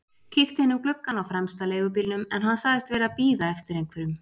Kíkti inn um gluggann á fremsta leigubílnum en hann sagðist vera að bíða eftir einhverjum.